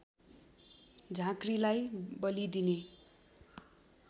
झाँक्रीलाई बली दिने